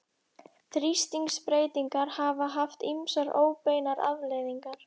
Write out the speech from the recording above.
Þrýstingsbreytingar hafa haft ýmsar óbeinar afleiðingar.